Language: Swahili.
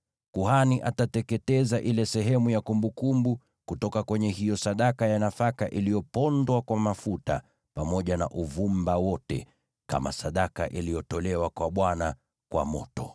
Kuhani atateketeza ile sehemu ya kumbukumbu kutoka kwenye hiyo sadaka ya nafaka iliyopondwa kwa mafuta, pamoja na uvumba wote, kama sadaka iliyotolewa kwa Bwana kwa moto.